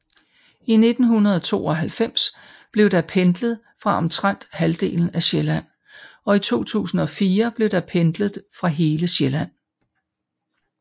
I 1992 blev der pendlet fra omtrent halvdelen af Sjælland og i 2004 blev der pendlet fra hele Sjælland